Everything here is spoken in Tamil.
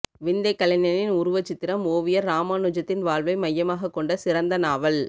விந்தைக் கலைஞனின் உருவச் சித்திரம் ஒவியர் ராமானுஜத்தின் வாழ்வை மையமாகக் கொண்ட சிறந்த நாவல்